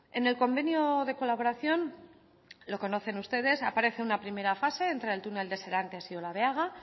en el convenio de colaboración lo conocen ustedes aparece una primera fase entre el túnel de serantes y olabeaga